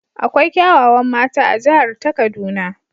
Akwai kyawawan mata a jihar ta kaduna.